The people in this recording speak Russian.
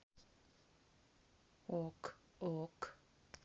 ок ок